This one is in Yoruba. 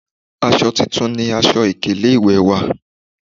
Aṣọ titun ni aṣọ ìkélé ìwè wa,